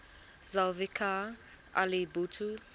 zulfikar ali bhutto